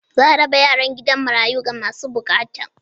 Za a raba yaran gidan marayu ga masu bukata.